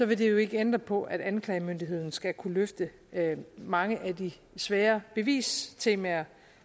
vil det jo ikke ændre på at anklagemyndigheden skal kunne løfte mange af de svære bevistemaer